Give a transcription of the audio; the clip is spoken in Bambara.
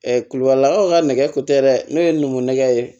kulubalilakaw ka nɛgɛ ko tɛ dɛ ne ye n ko nɛgɛ ye